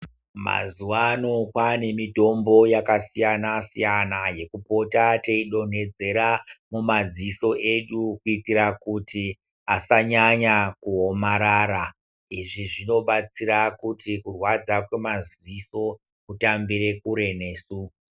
Mazuwano kwaane mitombo yakasiyana siyana yekupota teidonhodzera mumadziso edu kuitira kuti asanyanya kuomarara izvi zvinobatsira kuti kurwadza kwemaziso kutambire kure nesu.